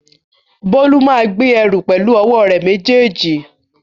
Bólú máa gbé ẹrù pẹ̀lú ọwọ́ rẹ̀ méjèèjì